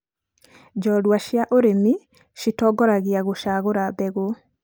njoorua cia urĩmi citongoragia gũcaagũra mbegũ